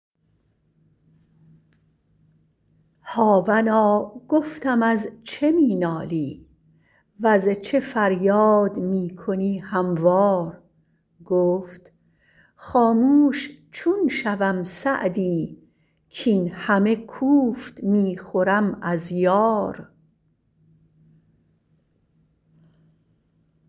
هاونا گفتم از چه می نالی وز چه فریاد می کنی هموار گفت خاموش چون شوم سعدی کاین همه کوفت می خورم از یار